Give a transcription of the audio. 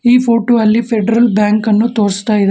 ಈ ಫೊಟೋ ಅಲ್ಲಿ ಫೆಡರಲ್ ಬ್ಯಾಂಕನ್ನು ತೋರ್ಸ್ಥಇದಾ--